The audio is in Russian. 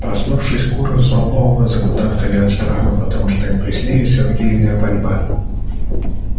проснувшись куры взволнованно закудахтали от страха потому что им приснилась орудийная пальба